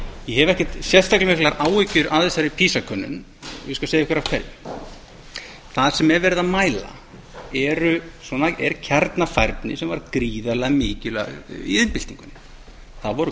ég skal segja ykkur af hverju það sem er verið að mæla er kjarnafærni sem var gríðarlega mikilvæg í iðnbyltingunni þá voru